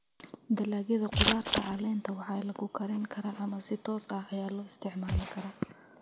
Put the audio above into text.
Dalagyada khudaarta caleenta waxay lagu karin karaa ama si toos ah ayaa loo isticmaali karaa.